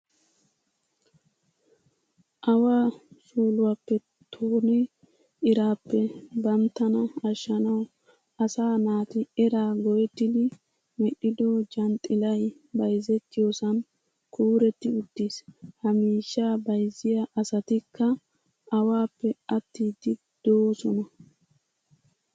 Awaa suuluwappe tonne iraappe banttana ashshanawu asaa naati eraa go'ettidi medhdhido janxxilay bayzettiyosan kuuretti uttiis. Ha miishshaa bayzziya asatikka awaappe attiiddi doosona.